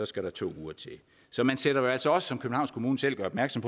skal der to uger til så man sætter jo altså også som københavns kommune selv gør opmærksom